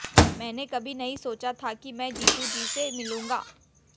मैंने कभी नहीं सोचा था कि मैं जीतू जी से मिलूँगा